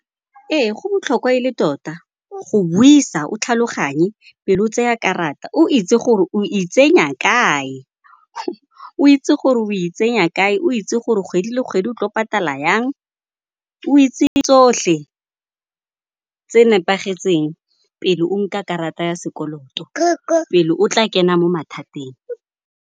Ee, go botlhokwa e le tota go buisa o tlhaloganye pele o tseya karata, o itse gore o itsenya kae. O itse gore o itsenya kae, o itse gore kgwedi le kgwedi o tlo patala yang, o itse tsohle tse nepagetseng pele o nka karata ya sekoloto, pele o tla kena mo mathateng.